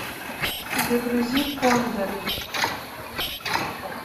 загрузи кондор